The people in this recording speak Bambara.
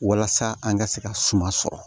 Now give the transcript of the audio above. Walasa an ka se ka suma sɔrɔ